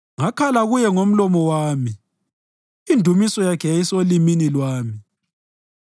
Ngakhala Kuye ngomlomo wami; indumiso yakhe yayisolimini lwami.